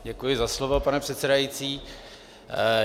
Děkuji za slovo, pane předsedající.